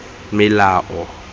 melao